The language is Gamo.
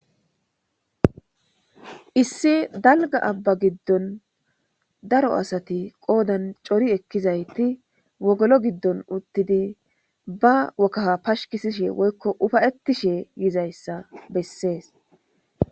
issi dalga abba giddon daro asati qoodan cori ekkizayti wogolo giddon uttidi ba wokaha pashkisishe woykko ufayetishe yizayssa bessees